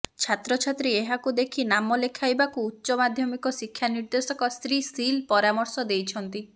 ଛାତ୍ରଛାତ୍ରୀ ଏହାକୁ ଦେଖି ନାମଲେଖାଇବାକୁ ଉଚ୍ଚ ମାଧ୍ୟମିକ ଶିକ୍ଷା ନିର୍ଦେଶକ ଶ୍ରୀ ସିଲ୍ ପରାମର୍ଶ ଦେଇଛନ୍ତି